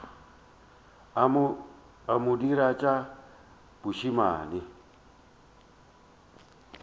a mo dira tša bošemane